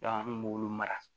an kun b'olu mara